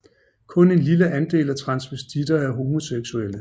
Kun en lille andel af transvestitter er homoseksuelle